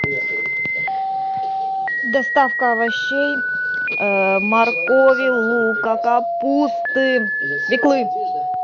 доставка овощей моркови лука капусты свеклы